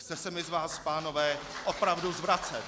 Chce se mi z vás, pánové, opravdu zvracet.